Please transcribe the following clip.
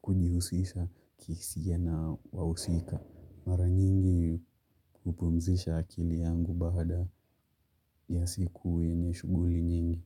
kujihusisha kihisia na wahusika. Mara nyingi hupumzisha akili yangu baada ya siku yenye shughuli nyingi.